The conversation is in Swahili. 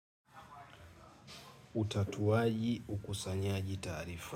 Utatuaji ukusanyaji taarifa.